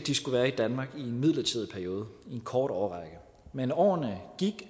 de skulle være i danmark i en midlertidig periode i en kort årrække men årene gik